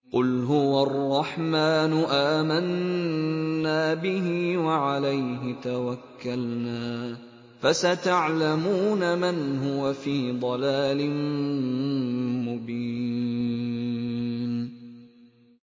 قُلْ هُوَ الرَّحْمَٰنُ آمَنَّا بِهِ وَعَلَيْهِ تَوَكَّلْنَا ۖ فَسَتَعْلَمُونَ مَنْ هُوَ فِي ضَلَالٍ مُّبِينٍ